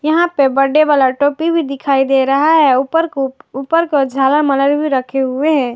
यहां पर birthday birthday वाला टोपी भी दिखाई दे रहा है ऊपर को ऊपर का झाला मारे रखे हुए हैं।